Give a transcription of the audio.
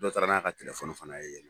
Dɔ taara n'a ka fana ye yen nɔn